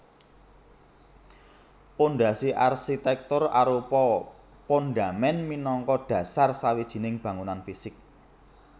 Pondhasi arsitèktur arupa pondhamèn minangka dhasar sawijining bangunan fisik